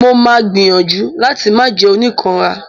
Mo máa gbìyànjú láti máà jẹ́ oníkanra.